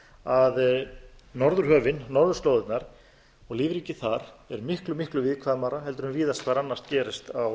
að norðurhöfin norðurslóðirnar og lífríkið þar er miklu miklu viðkvæmara en víðast hvar annars staðar gerist á